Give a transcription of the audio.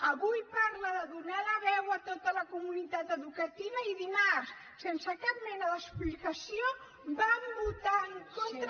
avui parla de donar la veu a tota la comunitat educativa i dimarts sense cap mena d’explicació van votar en contra